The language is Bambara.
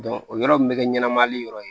o yɔrɔ mun be kɛ ɲɛnamali yɔrɔ ye